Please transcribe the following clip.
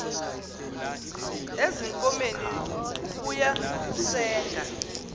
ezinkomeni ukuya kusenga